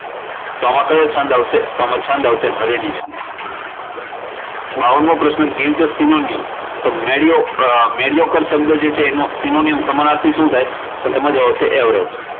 તો આમા કયો છંદ આવશે તો આમા છંદ આવશે હારિણી છંદ. બાવન મો પ્રશ્ન give the synonyms to Mario mario શબ્દ છે તેનો synonyms સમાનાર્થી શું થાય? તો તેમાં જવાબ આવશે avarage.